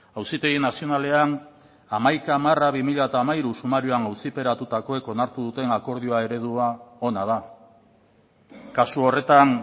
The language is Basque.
auzitegi nazionalean hamaika barra bi mila hamairu sumarioan auziperatutakoek onartu duten akordio eredua ona da kasu horretan